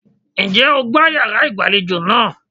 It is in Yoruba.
Ǹjẹ́ o gbá yàrá ìgbàlejò náà?